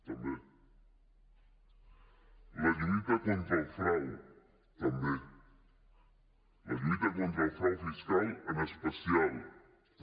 la lluita contra el frau també la lluita contra el frau fiscal en especial també